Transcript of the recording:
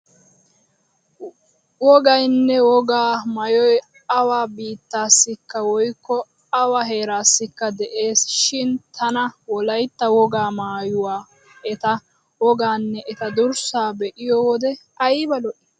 Wogaynne wogaa maayoy awa biittaassikka woykko awa heeraassikka de'eesi shin tana wolaytta wogaa maayuwa etaa wogaanne eta durssaa be'iyo wode ayba lo'ii?